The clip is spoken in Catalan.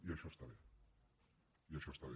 i això està bé i això està bé